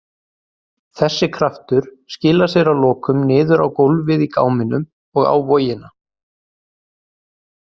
Þessi kraftur skilar sér að lokum niður á gólfið í gáminum og á vogina.